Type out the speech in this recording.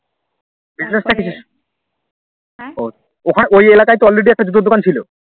ওই এলাকা তে তো Already একটা জুতোর দোকান ছিল